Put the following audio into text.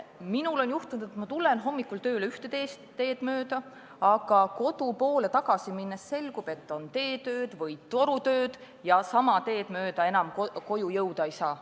Minul on juhtunud, et ma tulen hommikul tööle ühte teed mööda, aga kodu poole tagasi minnes selgub, et on teetööd või torutööd ja sama teed mööda enam koju minna ei saa.